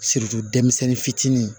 denmisɛnnin fitinin